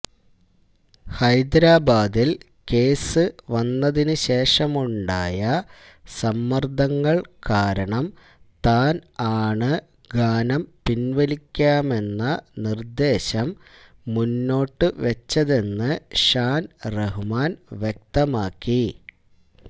ഹൈദരാബാദില് case വന്നതിന് ശേഷമുണ്ടായ സമ്മര്ദ്ദങ്ങള് കാരണം താന് ആണ് ഗാനം പിന്വലിക്കാമെന്ന നിര്ദ്ദേശം മുന്നോട്ടുവച്ചതെന്ന് ഷാന് റഹ്മാന് വ്യക്തമാക്കി